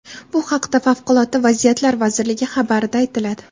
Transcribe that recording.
Bu haqda Favqulodda vaziyatlar vazirligi xabarida aytiladi .